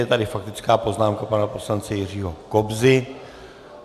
Je tady faktická poznámka pana poslance Jiřího Kobzy.